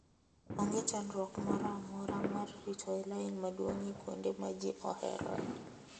Onge chandruok moro amora mar rito e lain maduong' e kuonde ma ji oheroe.